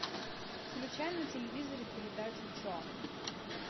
включай на телевизоре передачу че